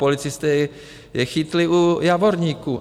Policisté je chytli u Javorníků.